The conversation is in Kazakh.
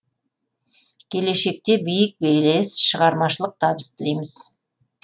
келешекте биік белес шығармашылық табыс тілейміз